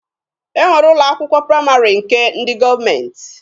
E nwere ụlọ akwụkwọ praịmarị nke ndị gọọmenti